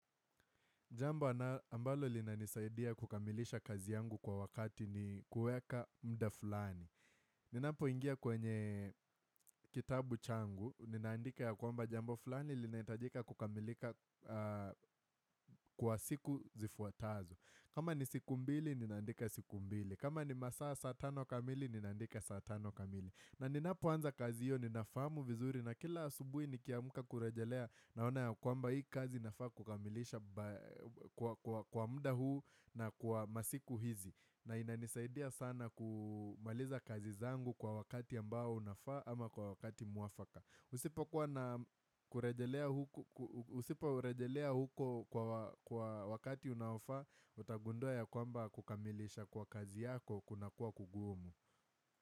Jambo ambalo linanisaidia kukamilisha kazi yangu kwa wakati ni kuweka mda fulani. Ninapoingia kwenye kitabu changu, ninaandika ya kwamba jambo fulani linahitajika kukamilika kwa siku zifuatazo. Kama ni siku mbili, ninaandika siku mbili. Kama ni masaa ya saa tano kamili, ninaandika saa tano kamili. Na ninapoanza kazi hiyo ninafahamu vizuri na kila asubuhi nikiamka kurejelea naona ya kwamba hii kazi nafaa kukamilisha kwa mda huu na kwa masiku hizi na inanisaidia sana kumaliza kazi zangu kwa wakati ambao unafaa ama kwa wakati mwafaka Usiporejelea huko kwa wakati unaofaa utagundua ya kwamba kukamilisha kwa kazi yako kunakuwa kugumu.